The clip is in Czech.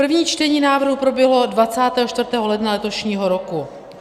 První čtení návrhu proběhlo 24. ledna letošního roku.